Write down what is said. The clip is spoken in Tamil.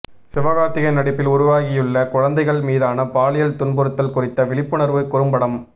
சிவகார்த்திகேயன் நடிப்பில் உருவாகியுள்ள குழந்தைகள் மீதான பாலியல் துன்புறுத்தல் குறித்த விழிப்புணர்வு குறும்படம்